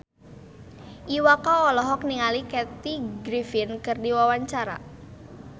Iwa K olohok ningali Kathy Griffin keur diwawancara